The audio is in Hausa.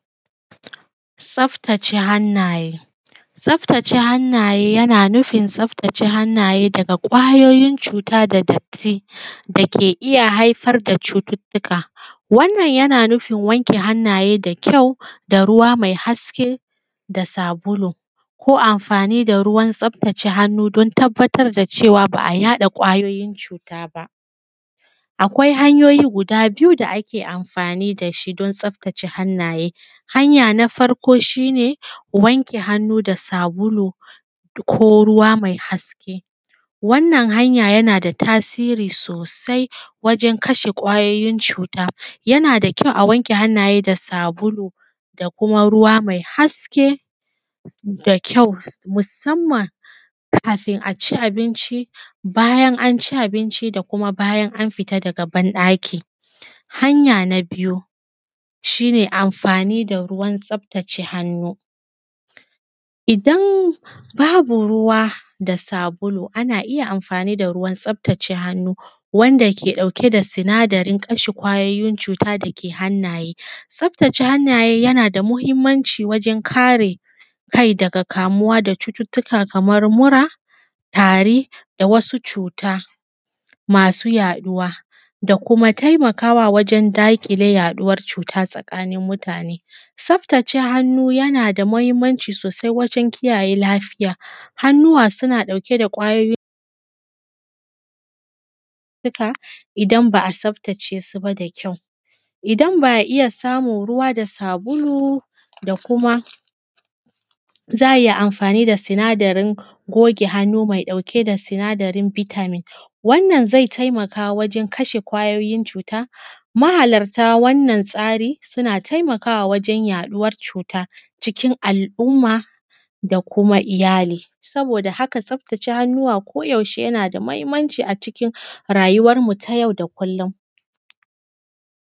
Tsaftace hannaye. Tsaftace hannaye yana nufin tsaftace hannaye daga ƙwayoyin cuta da datti da ke iya haifar da cututtuka. Wannan yana nufin wanke hannaye da kyau da ruwa mai haske da sabulu, ko amfani da ruwan tsaftace hannu don tabbatar da cewa ba a yaɗa ƙwayoyin cuta ba. Akwai hanyoyi guda biyu da ake amfani da shi don tsaftace hannaye. Hanya na farko shi ne wanke hannu da sabulu ko ruwa mai haske. Wannan hanya yana da tasiri sosai wajen kashe ƙwayoyin cuta, yana da kyau a wanke hannaye da sabulu da kuma ruwa mai haske da kyau, musamman kafin a ci abinci, bayan an ci abinci, da kuma bayan an fita daga ban ɗaki. Hanya na biyu shi ne amfani da ruwan tsaftace hannu idan babu ruwa da sabulu. Ana iya amfani da ruwan tsaftace hannu wanda ke ɗauke da sinadarin kashe ƙwayoyin cuta da ke hannaye. Tsaftace hannaye yana da muhimmanci wajen kare kai daga kamuwa daga cututtuka kaman mura, tari da wasu cuta masu yaɗuwa da kuma taimakawa wajen daƙile yaɗuwar cuta tsakanin mutane. Tsaftace hannu yana da muhimmanci sosai wajen kiyaye lafiya hannuwa suna ɗauke da ƙwayoyin cuta idan ba a tsaftace su ba da kyau. Idan ba a iya samun ruwa da sabulu da kuma za a iya amfani da sinadarin goge hannu mai ɗauke da sinadarin vitamin wannan zai taimaka wajen kashe ƙwayoyin cuta mahalarta wannan tsari suna taimakawa wajen yaɗuwar cuta cikin al'umma da kuma iyali. Saboda haka tsaftace hannuwa ko yaushe yana da muhimmanci a cikin rayuwan mu ta yau da kullum.